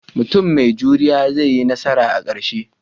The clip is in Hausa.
Mutum mai juriya zai yi nasara a ƙarshe